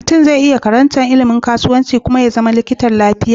Mutun ze iya karantar ilimin kasuwanci ya Kuma zama likitan lafiya